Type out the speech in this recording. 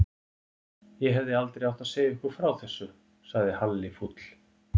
Ég hefði aldrei átt að segja ykkur frá þessu sagði Halli fúll.